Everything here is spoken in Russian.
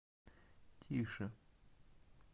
тише